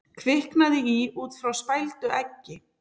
Kviknaði í út frá spældu eggi